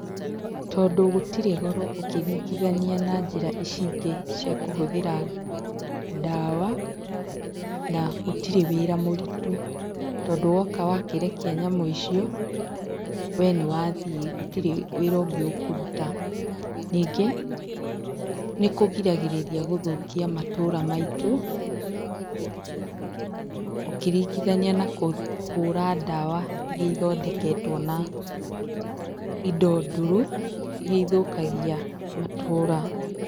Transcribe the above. Tondũ gũtitrĩ goro ũkĩringithania na njĩra ici ingĩ cia kũhũthĩra ndawa, na gũtirĩ wĩra mũritũ, tondũ wakĩrekia nyamũ icio, we nĩ wathĩ gũtirĩ wĩra ũngĩ ũkũruta. Ningĩ, nĩ kũgiragĩrĩria gũthũkia matũra maitũ ũkĩringithania na kũhũra ndawa iria ithondeketwo na indo ndũrũ iria ithũkagia matũũra.